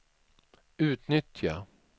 utnyttja